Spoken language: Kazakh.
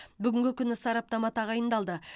бүгінгі күні сараптама тағайындалды